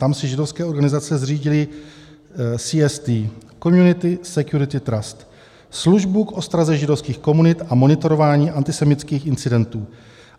Tam si židovské organizace zřídily CST, Community Security Trust, službu k ostraze židovských komunit a monitorování antisemitských incidentů.